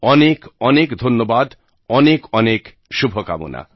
অনেক অনেক ধন্যবাদ অনেক অনেক শুভকামনা